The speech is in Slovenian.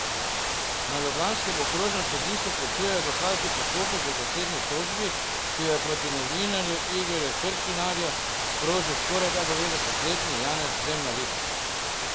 Na ljubljanskem okrožnem sodišču končujejo dokazni postopek v zasebni tožbi, ki jo je proti novinarju Igorju Kršinarju sprožil skorajda devetdesetletni Janez Zemljarič.